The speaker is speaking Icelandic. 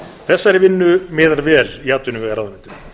þessari vinnu miðar vel í atvinnuvegaráðuneytinu